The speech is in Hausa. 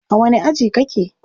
A wani aji kake?